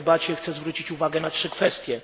W tej debacie chcę zwrócić uwagę na trzy kwestie.